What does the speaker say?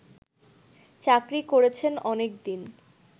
চাকরি করেছেন অনেকদিন